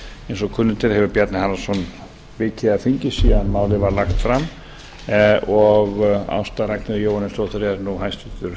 eins og kunnugt er hefur bjarni harðarson vikið af þingi síðan málið var lagt fram og ásta ragnheiður jóhannesdóttir er nú hæstvirtur